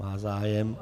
Má zájem.